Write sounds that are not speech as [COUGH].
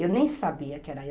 Eu nem sabia que era [UNINTELLIGIBLE]